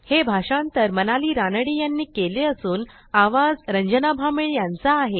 हे भाषांतर मनाली रानडे ह्यांनी केले असून आवाज रंजना भांबळे ह्यांचा आहे